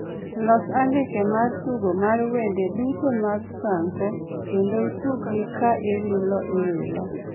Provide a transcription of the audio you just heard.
Los andike mar tugo mar wende duto mag franco kendo ituggi ka iwilo iwilo